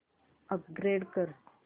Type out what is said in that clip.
upgrade कर